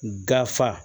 Gafe